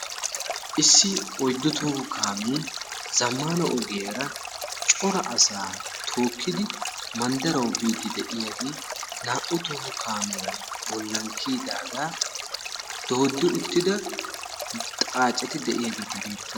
Issi oyddu toho kaamee zamana ogiyaara cora asaa tookidi madarawu biidi de'iyaagee naa'u toho kaamiya bollan kiyidaagaa doodi uttida xaaccetti de'iyaageti beettoosona.